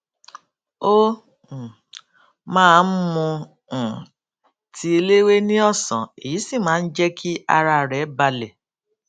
ó um máa ń mu um tíì eléwé ní òsán èyí sì máa ń jé kí ara rè balè